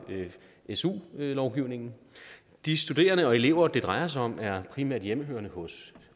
su lovgivningen de studerende og de elever det drejer sig om er primært hjemmehørende hos